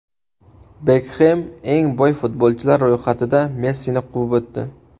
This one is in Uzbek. Bekxem eng boy futbolchilar ro‘yxatida Messini quvib o‘tdi.